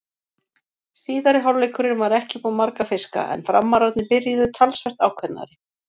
Síðari hálfleikurinn var ekki upp á marga fiska en Framararnir byrjuðu talsvert ákveðnari.